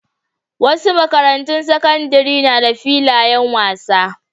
Wasu makarantun sakandaren na da filayen wasa.